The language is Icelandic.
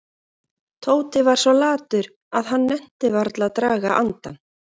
Tóti var svo latur að hann nennti varla að draga andann.